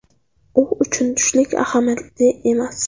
U uchun tushlik ahamiyatli emas.